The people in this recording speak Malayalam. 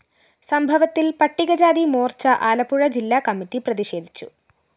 സംഭവത്തില്‍ പട്ടികജാതി മോര്‍ച്ച ആലപ്പുഴ ജില്ലാ കമ്മിറ്റി പ്രതിഷേധിച്ചു